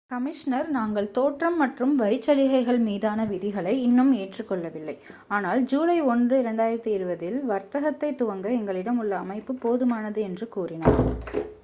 "Commissioner "நாங்கள் தோற்றம் மற்றும் வரிச்சலுகைகள் மீதான விதிகளை இன்னும் ஏற்றுக்கொள்ளவில்லை ஆனால் ஜூலை 1 2020 இல் வர்த்தகத்தைத் துவங்க எங்களிடம் உள்ள அமைப்பு போதுமானது" என்று கூறினார்.